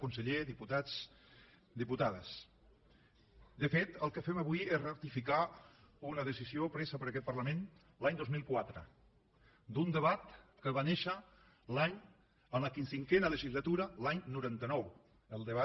conseller diputats diputades de fet el que fem avui és ratificar una decisió presa per aquest parlament l’any dos mil quatre d’un debat que va néixer en la cinquena legislatura l’any noranta nou el debat